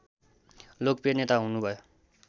लोकप्रिय नेता हुनुभयो